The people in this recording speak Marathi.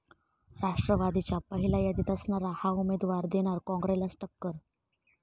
राष्ट्रवादीच्या पहिल्या यादीत असणारा 'हा' उमेदवार देणार काँग्रेसलाच टक्कर